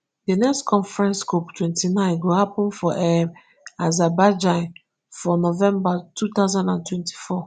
di next conference cop twenty-nine go happun for um azerbaijan for november two thousand and twenty-four